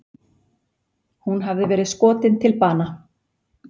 Hún hafði verið skotin til bana